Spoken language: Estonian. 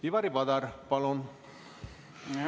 Ivari Padar, palun!